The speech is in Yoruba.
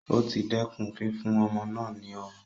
O ti dẹkùn fífún ọmọ náà ní ọmu